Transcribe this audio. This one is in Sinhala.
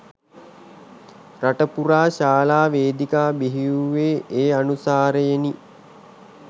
රට පුරා ශාලා වේදිකා බිහි වූවේ ඒ අනුසාරයෙනි